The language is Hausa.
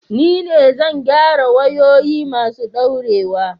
Ni ne zai gyara wayoyi masu daurewa